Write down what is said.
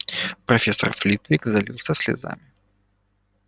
профессор флитвик залился слезами